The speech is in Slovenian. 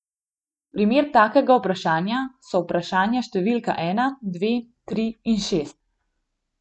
Primer takega vprašanja so vprašanja številka ena, dve, tri in šest.